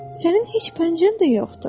Sənin heç pəncən də yoxdur.